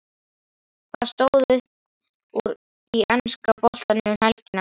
Hvað stóð upp úr í enska boltanum um helgina?